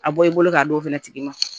A bɔ i bolo k'a d'o fana tigi ma